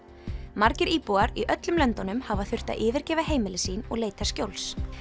margir íbúar í öllum löndunum hafa þurft að yfirgefa heimili sín og leita skjóls